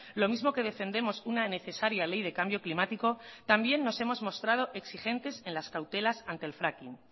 lo mismo que defendemos una necesaria ley de cambio climático también nos hemos mostrado exigentes en las cautelas ante el fracking